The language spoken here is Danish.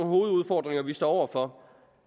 hovedudfordringer vi står over for